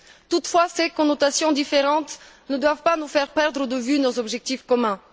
Toutefois, ces connotations différentes ne doivent pas nous faire perdre de vue nos objectifs communs.